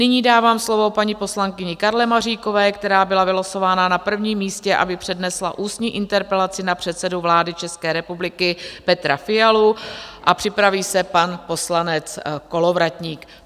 Nyní dávám slovo paní poslankyni Karle Maříkové, která byla vylosována na prvním místě, aby přednesla ústní interpelaci na předsedu vlády České republiky Petra Fialu a připraví se pan poslanec Kolovratník.